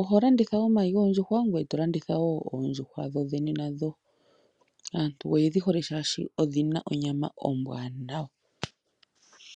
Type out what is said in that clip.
oho landitha omayi goondjuhwa, ngoye to landitha wo oondjuhwa dhodhene nadho. Aantu oye dhi hole oshoka odhi na onyama ombwaanawa.